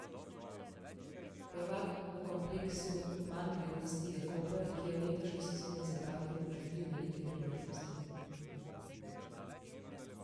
Prvak v kompleksu manjvrednosti je Koper, ki je v letošnji sezoni zapravil že tri velike priložnosti.